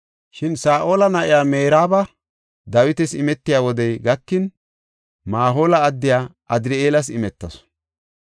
Shin Saa7ola na7iya Meraaba Dawitas imetiya wodey gakin, Mahoola addiya Adri7eelas imetasu.